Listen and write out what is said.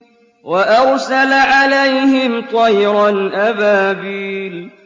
وَأَرْسَلَ عَلَيْهِمْ طَيْرًا أَبَابِيلَ